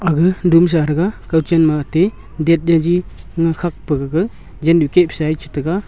ga dumsa tega kak chin ma te dat chaji ma khak pegaga jamnu kep shet tega.